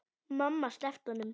Mamma sleppti honum.